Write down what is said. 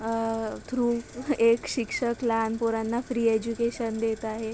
आ through एक शिक्षक लहान पोरांना फ्री एज्यूकेशन देत आहे.